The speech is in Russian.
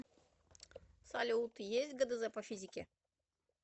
салют есть гдз по физике